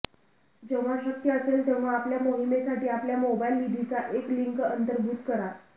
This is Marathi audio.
जेव्हा शक्य असेल तेव्हा आपल्या मोहिमेसाठी आपल्या मोबाईल निधीची एक लिंक अंतर्भूत करा